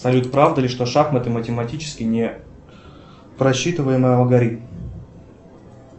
салют правда ли что шахматы математически не просчитываемый алгоритм